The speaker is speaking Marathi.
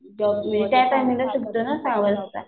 त्या टाईमिंग ला सुटतं ना सहा वाजता